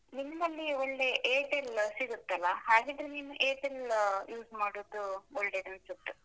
ನಿಮ್ಮಲ್ಲಿ ಒಳ್ಳೆ Airtel ಸಿಗುತ್ತಲ್ಲ? ಹಾಗಿದ್ರೆ ನೀನು Airtel use ಮಾಡುದು ಒಳ್ಳೇದು ಅನ್ಸುತ್ತೆ.